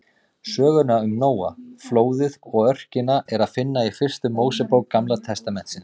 Söguna um Nóa, flóðið og örkina er að finna í fyrstu Mósebók Gamla testamentisins.